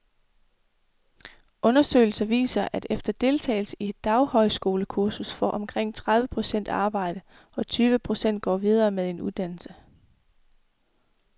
Undersøgelser viser, at efter deltagelse i et daghøjskolekursus får omkring tredive procent arbejde, og tyve procent går videre med en uddannelse.